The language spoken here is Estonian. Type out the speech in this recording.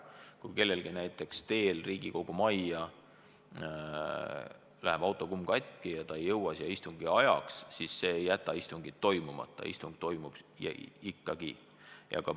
Kui kellelgi näiteks teel Riigikogu majja läheb autokumm katki ja ta ei jõua siia istungi ajaks, siis see ei jäta istungit ära – istung toimub ikkagi.